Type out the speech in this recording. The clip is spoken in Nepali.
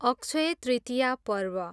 अक्षय तृतीया पर्व